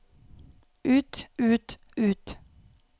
ut ut ut